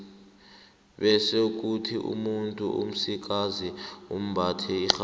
bese kuthi umuntu omsikazi ambathe irhabi